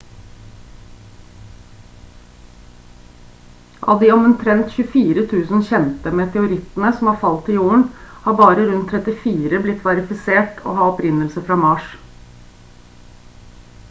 av de omtrent 24 000 kjente meteorittene som har falt til jorden har bare rundt 34 blitt verifisert å ha opprinnelse fra mars